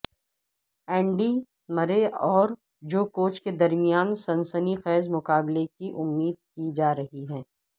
Andy Murray اور جوکووچ کے درمیان سنسنی خیز مقابلے کی امید کی جا رہی ہے